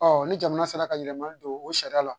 ni jamana sera ka yɛlɛmali don o sariya la